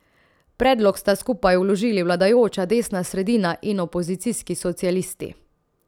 Predlog sta skupaj vložili vladajoča desna sredina in opozicijski socialisti.